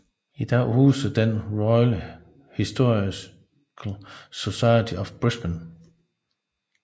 I dag huser den Royal Historical Society of Brisbane